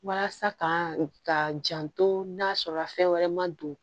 Walasa ka janto n'a sɔrɔ la fɛn wɛrɛ ma don